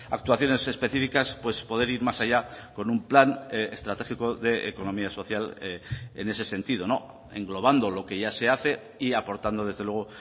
actuaciones específicas poder ir más allá con un plan estratégico de economía social en ese sentido englobando lo que ya se hace y aportando desde luego